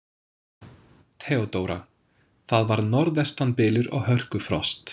THEODÓRA: Það var norðvestan bylur og hörkufrost.